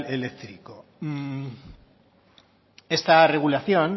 eléctrico esta regulación